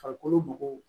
Farikolo mɔgɔw